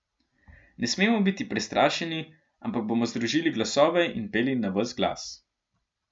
Ne smemo biti prestrašeni, ampak bomo združili glasove in peli na ves glas.